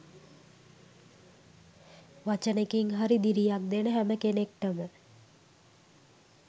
වචනෙකින් හරි දිරියක් දෙන හැම කෙනෙක්ටම